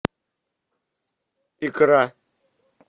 икра